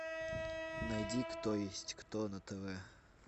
найди кто есть кто на тв